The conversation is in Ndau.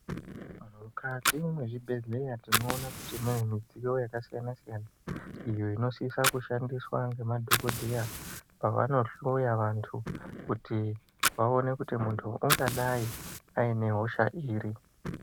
Mukati mwezvibhedhleya tinoona kuti kune midziyo yaka siyana siyana. Iyo inosisa kushandiswa nge madhokodheya pavanohloya vantu kuti vaone kuti muntu ungadai aine hosha iri.